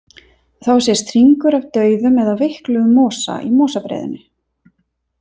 Þá sést hringur af dauðum eða veikluðum mosa í mosabreiðunni.